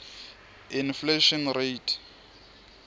inflation rate